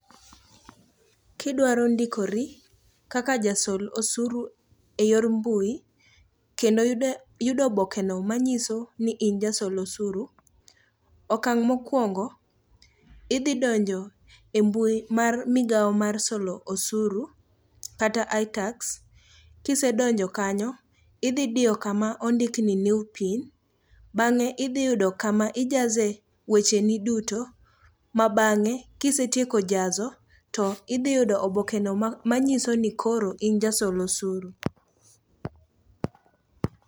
Kidwaro ndikori kaka jasol osuru e yor mbui kendo ndiko obokeno manyiso ni in ja solosuru , okang' mokuongo, idhidonje e mbui mar migao mar solo osuru kata ITAX, kise donjo kanyo idhidiyo kama ondik ni new pin, bange' idhiyudo kame ijaze wecheni duto ma bange' kisetieko jazo tithiyudo obokeno manyiso ni koro in ja solosuru.